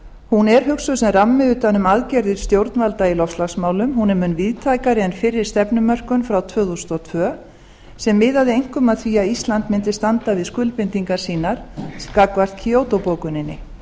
hún er hugsuð sem rammi utan um aðgerðir stjórnvalda í loftslagsmálum hún er mun víðtækari en fyrri stefnumörkun frá tvö þúsund og tvö sem miðaði einkum að því að ísland mundi standa við skuldbindingar sínar gagnvart kyoto bókuninni